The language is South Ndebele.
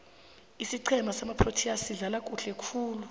isiqhema samaproteas sidlala kuhle khulu